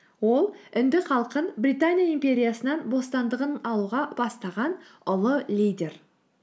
ол үнді халқын британия империясынан бостандығын алуға бастаған ұлы лидер